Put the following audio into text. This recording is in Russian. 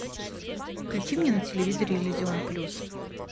включи мне на телевизоре иллюзион плюс